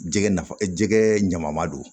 Jɛgɛ nafa jɛgɛ ɲama ma don